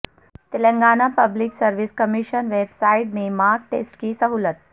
Telangana public service commission website میں mock test کی سہولت